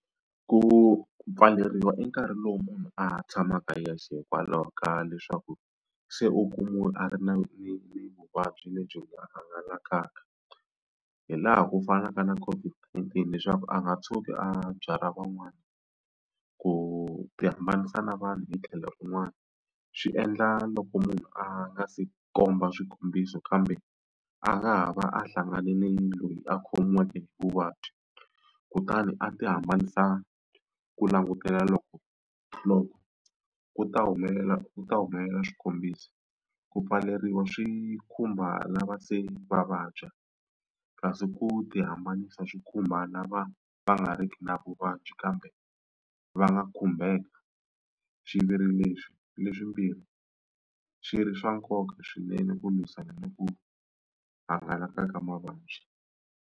Ku pfaleriwa i nkarhi lowu munhu a ha tshamaka yexe hikwalaho ka leswaku se u kumiwe a ri ni ni ni vuvabyi lebyi nga hangalakaka hi laha ku fanaka na COVID-19 leswaku a nga tshuki a byalwa van'wani. Ku tihambanisa na vanhu hi tlhelo un'wana swi endla loko munhu a nga se komba swikombiso kambe a nga ha va a hlanganile ni loyi a khomiweke vuvabyi kutani a tihambanisa ku langutela loko ku ta humelela ku ta humelela swikombiso. Ku pfaleriwa swi khumba lava se va vabya kasi ku tihambanisa swi khumba lava va nga riki na vuvabyi a byi kambe va nga khumbeka xiviri leswi leswimbirhi si ri swa nkoka swinene ku lwisana ni ku hangalaka ka mavabyi.